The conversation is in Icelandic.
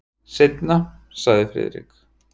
Seinna sagði Friðrik.